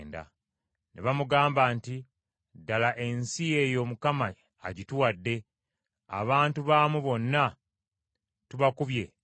Ne bamugamba nti, “Ddala ensi eyo Mukama agituwadde, abantu baamu bonna tubakubye encukwe.”